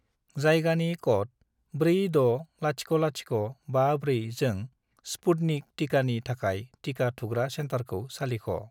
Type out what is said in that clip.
जायगानि क'ड 460054 जों स्पुटनिक टिकानि थाखाय टिका थुग्रा सेन्टारखौ सालिख'।